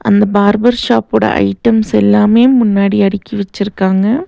அந்த பார்பர்ஷாப்போட ஐட்டம்ஸ் எல்லாமே முன்னாடி அடுக்கி வச்சிருக்காங்க.